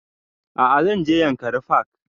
A'a zan je yankari park